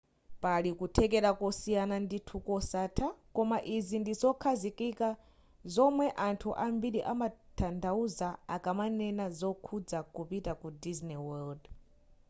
pali kuthekera kosiyana ndithu kosatha koma izi ndi zokhazikika zomwe anthu ambiri amatanthauza akamanena zokhudza kupita ku disney world